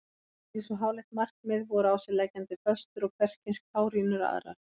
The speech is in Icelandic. Fyrir svo háleitt markmið voru á sig leggjandi föstur og hverskyns kárínur aðrar.